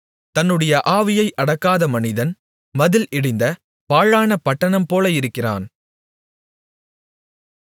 தன்னுடைய ஆவியை அடக்காத மனிதன் மதில் இடிந்த பாழான பட்டணம்போல இருக்கிறான்